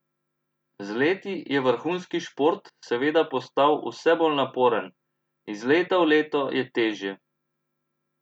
Z leti je vrhunski šport seveda postal vse bolj naporen: "Iz leta v leto je težje.